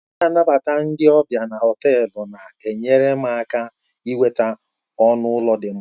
Onye na-anabata ndị ọbịa na họtelu na-enyere m aka inweta ọnụ ụlọ dị mma